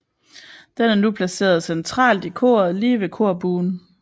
Den er nu placeret centralt i koret lige ved korbuen